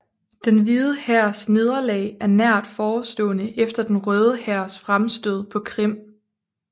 Den Hvide Hærs nederlag er nært forestående efter Den Røde Hærs fremstød på Krim